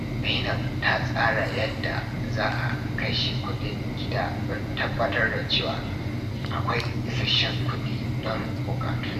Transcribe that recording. Zainab ta tsara yadda za a kashe kudin gida don tabbatar da cewa akwai isasshen kudi don bukatunta.